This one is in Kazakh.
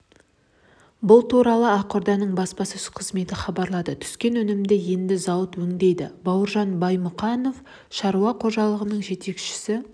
бұл туралы ақорданың баспасөз қызметі хабарлады түскен өнімді енді зауыт өңдейді бауыржан баймұқанов шаруа қожалығының жетекшісі